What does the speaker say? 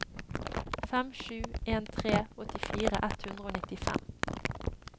fem sju en tre åttifire ett hundre og nittifem